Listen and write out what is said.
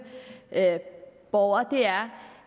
borgere er